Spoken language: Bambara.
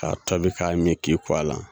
K'a tɔbi k'a min k'i ko a la.